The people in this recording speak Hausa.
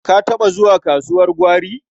Ka taɓa zuwa kasuwar gwari?